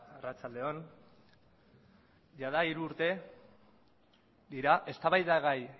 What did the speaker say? arratsalde on jada hiru urte dira eztabaidagai